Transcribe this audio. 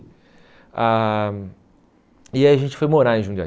Ah E aí a gente foi morar em Jundiaí.